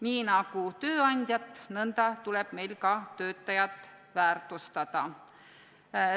Nii nagu tööandjat, nõnda tuleb meil ka töötajat väärtustada.